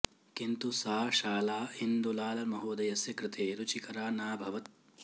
किन्तु सा शाला इन्दुलाल महोदयस्य कृते रुचिकरा नाभवत्